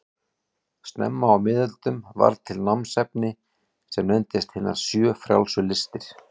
Snemma á miðöldum varð til námsefni sem nefndist hinar sjö frjálsu listir.